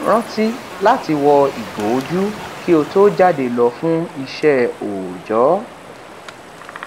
rántí láti wọ ìgò ojú kí ó tó jáde lọ fún ìṣẹ òójọ